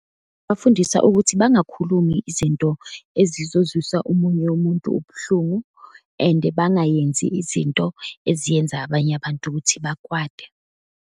Bafundisa ukuthi bangakhulumi izinto ezizozwisisa omunye umuntu ubuhlungu and bangayenzi izinto eziyenza abanye abantu ukuthi bakwate.